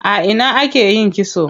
A ina ake yin kitson?